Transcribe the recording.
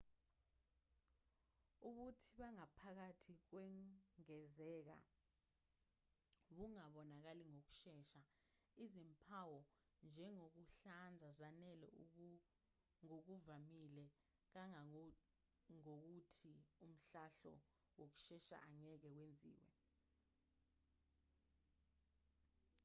ubuthi bangaphakathi kungezeka bungabonakali ngokushesha izimpawu njengokuhlanza zanele ngokuvamile kangangokuthi umhlahlo wokushesha angeke wenziwe